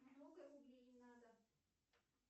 много рублей надо